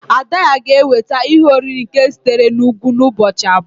ada-ya gēweta ihe-oriri nke sitere n'Ugwu n'ubọchi abua